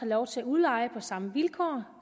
lov til at udleje på samme vilkår